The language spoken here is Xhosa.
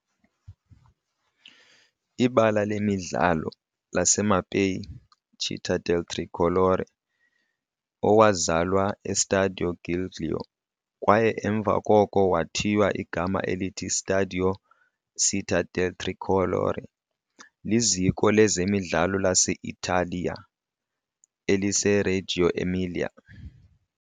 Ibala lemidlalo laseMapei - Città del Tricolore, owazalwa eStadio Giglio kwaye emva koko wathiywa igama elithi Stadio Città del Tricolore, liziko lezemidlalo lase -Italiya eliseReggio Emilia.